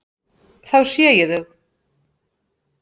Þá sé ég þau.